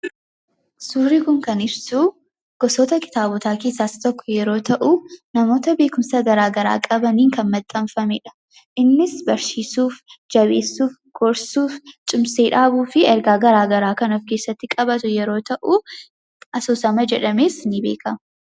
Suurii kun kan ibsuu gosoota kitaabotaa keessaas tokko yeroo ta'uu. namoota beekumsaa garaa garaa qabanii kan maxxaanfameedha. innis barsiisuu, jabeessuu, gorsuu, cimsee dhaabuu fi ergaa garaa garaa kanaa offi keessatti qabatu yeroo ta'u. Asoosama jedhamees ni beeka.